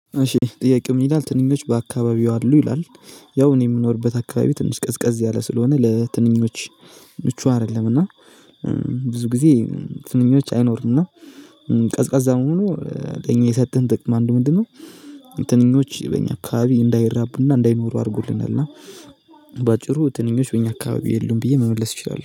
እሺ ጥያቄው ምን ይላል ትንኞቹ በአካባቢው አሉ ይላል? ያው እኔ የምኖርበት አካባቢ ትንሽ ቀዝቀዝ ያለ ስለሆነ ለትንኞቹ ምቹ አይደለም። እና ብዙ ጊዜ ትንኞች አይኖሩም። እና ቀዝቃዛ መሆኑ ለኛ የሰጠን ጥቅም አንዱ ምንድነው? ትንኞች በኛ አካባቢ እንዳይራቡና እንዳይኖሩ አድርጉልናል። እና በአጭሩ ትንኞች በእኛ አካባቢ የሉም ብዬ መመለስ እችላለሁ